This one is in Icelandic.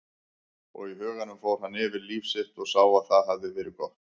Og í huganum fór hann yfir líf sitt og sá að það hafði verið gott.